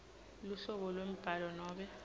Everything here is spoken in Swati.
luhlobo lwembhalo nobe